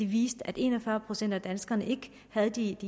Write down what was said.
viste at en og fyrre procent af danskerne ikke havde de